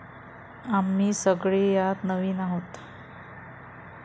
आम्ही सगळे यात नवीन आहोत.